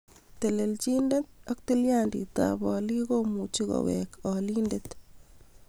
Telelchinet ak tilyanditab olik komuchi kowek olindet